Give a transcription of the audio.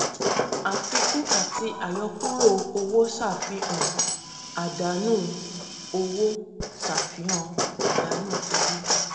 àfikún àti àyọkúrò owó ṣàfihàn àdánù owó ṣàfihàn àdánù owó